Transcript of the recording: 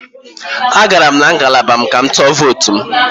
Agara m na ngalaba m ka m tụọ votu m